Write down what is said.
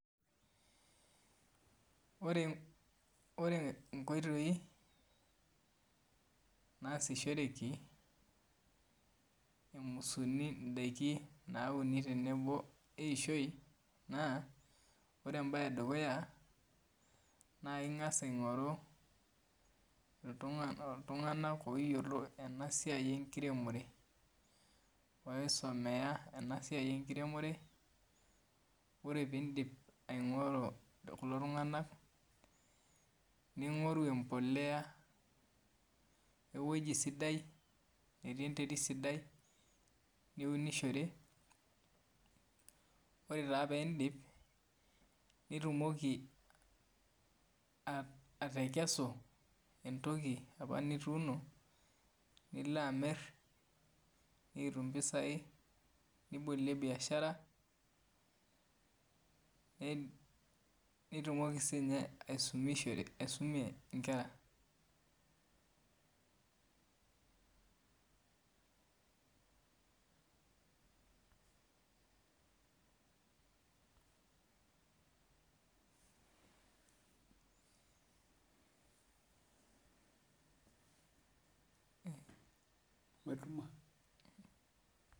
Ore ore inkoitoi naasishoreki emusuni indaiki nauni tenebo eishoi naa ore embaye edukuya naa ing'as aing'oru iltung'anak oyiolo ena siai enkiremore oisomea ena siai enkiremore ore pindip aing'oru kulo tung'anak ning'oru empolea ewueji sidai netii enterit sidai niunishore oree taa peindip nitumoki a atekesu entoki apa nituuno nilo amirr nikitum impisai nibolie biashara ne nitumoki sinye aisumishore aisumie inkera.